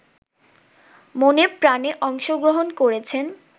মনেপ্রাণে অংশগ্রহণ করেছেন